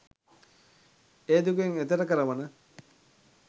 ඒ දුකෙන් එතෙර කරවන